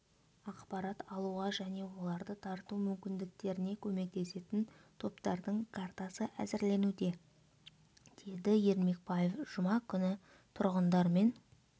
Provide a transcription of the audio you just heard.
ақпарат алуға және оларды тарту мүмкіндіктеріне көмектесетін топтардың картасы әзірленуде деді ермекбаев жұма күні тұрғындармен